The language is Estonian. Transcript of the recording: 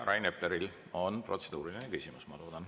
Rain Epleril on protseduuriline küsimus, ma loodan.